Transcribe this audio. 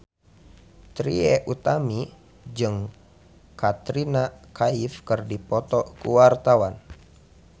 Trie Utami jeung Katrina Kaif keur dipoto ku wartawan